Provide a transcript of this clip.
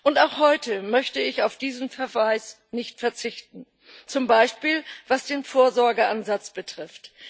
Und auch heute möchte ich auf diesen Verweis nicht verzichten, zum Beispiel was den Vorsorgeansatz betrifft.